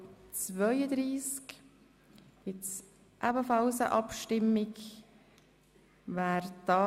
Wer den «Stras(Geschäft 2017.RRGR.320; Antrag